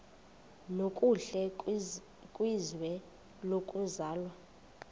nokuhle kwizwe lokuzalwa